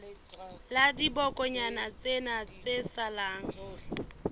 la dibokonyana tsena tse salang